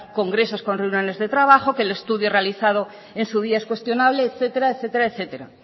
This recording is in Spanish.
congresos con reuniones de trabajo que el estudio realizado en su día es cuestionable etcétera